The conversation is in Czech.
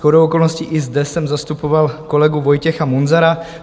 Shodou okolností i zde jsem zastupoval kolegu Vojtěcha Munzara.